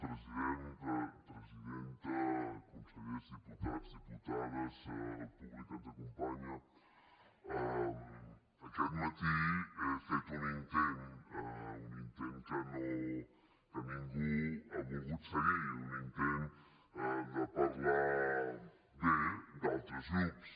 president presidenta consellers diputats diputades públic que ens acompanya aquest matí he fet un intent un intent que ningú ha volgut seguir un intent de parlar bé d’altres grups